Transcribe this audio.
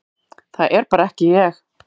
Það er bara ekki ég,